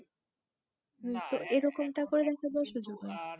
না কিন্তু এরকম তা করে কিন্তু সুযোগ হয়